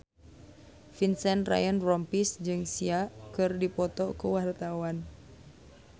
Vincent Ryan Rompies jeung Sia keur dipoto ku wartawan